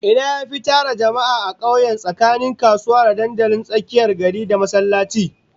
Ina yafi tara jama'a a kauye tsakanin kasuwa, da dandalin tsakiyar gari, da masallaci?